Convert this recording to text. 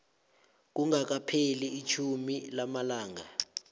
kungakapheli itjhumi lamalanga